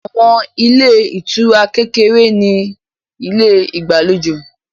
Àwọn ilé ìtura kékeré ní ilé ìgbàlejò